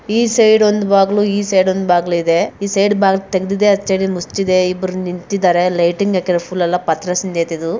ಈ ಸೈಡ್ ಒಂದು ಬಕ್ಲು ಈ ಸೈಡ್ ಒಂದು ಬಾಕ್ಳು ಇದೆ ಈ ಸೈಡ್ ತೆಗಿದಿದೆ ಆಕದ ದು ಮುಚ್ಚಿದೆ ಇಬ್ಬರು ನಿಂತಿದಾರೆ ಲೈಟಿಂಗ್ ಆಕಿರೇ ಫುಲ್ ಪಾತ್ರಸುತ್ತೆ ಇದು